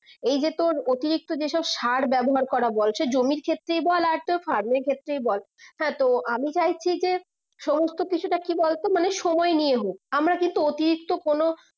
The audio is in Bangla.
এই যে তোর অতিরিক্ত যে সব সার ব্যবহার করা বলছে জমির ক্ষেত্রে বল আর তোর ferm এর ক্ষেত্রে বল হ্যাঁ তো আমি চাইছি যে সমস্ত কিছুটা কি বলতো সময় নিয়ে হোক আমার কিন্তু অতিরিক্ত কোনো